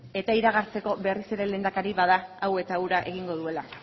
eta iragartzeko berriz ere lehendakari bada hau eta hura egingo duela